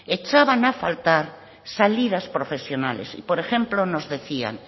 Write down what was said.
echaban a faltar salidas profesionales por ejemplo nos decían